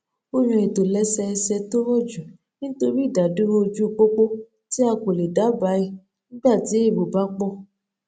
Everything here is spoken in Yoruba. o yan ìtòlẹsẹẹsẹ to roju nitori idaduro oju popo ti a ko le daba e nigba ti ero ba po